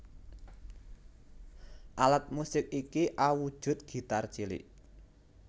Alat musik iki awujud gitar cilik